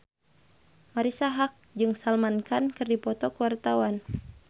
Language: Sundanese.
Marisa Haque jeung Salman Khan keur dipoto ku wartawan